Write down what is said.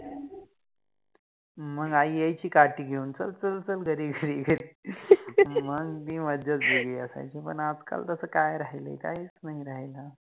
मंग आई यायचि काठि घेउन चल चल चल घरि, मंग मि माझ्याच घरि असायचो, आजकाल तस काय राहिल आहे काहिच नाहि राहिल